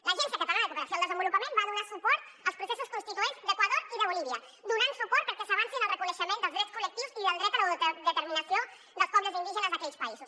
l’agència catalana de cooperació al desenvolupament va donar suport als processos constituents d’equador i de bolívia donant hi suport perquè s’avancés en el reconeixement dels drets col·lectius i del dret a l’autodeterminació dels pobles indígenes d’aquells països